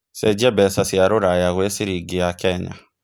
cenjĩa mbeca cia rũraya gwĩ ciringi ya Kenya